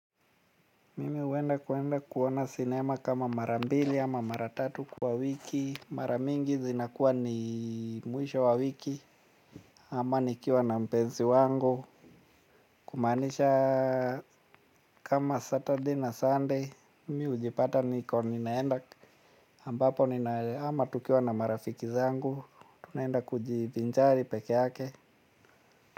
Mimi huenda kwenda kuona sinema kama mara mbili ama mara tatu kwa wiki. Mara mingi zinakuwa ni mwisho wa wiki ama nikiwa na mpenzi wangu. Kumaanisha kama Saturday na Sunday mimi hujipata niko ninaenda ambapo nina ama tukiwa na marafiki zangu. Tunaenda kujivinjari pekeake.